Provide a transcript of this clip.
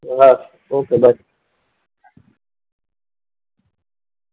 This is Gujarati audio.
Okay bye.